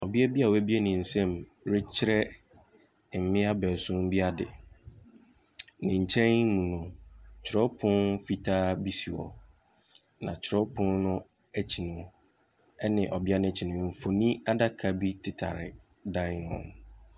Ɔbea bi a wɔabue ne nsamu rekyerɛ mmea beesuon bi ade, ne nkyɛn mu no, kyerɛwpono fitaa bi si hɔ. Na kyerɛwpono n’akyi no ne ɔbea no akyi no, mfonin adaka bi tetare dan ne ho.